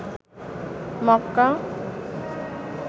মককা